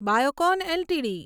Biocon LTD